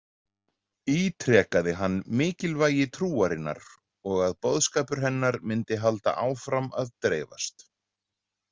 Ítrekaði hann mikilvægi trúarinnar og að boðskapur hennar myndi halda áfram að dreifast.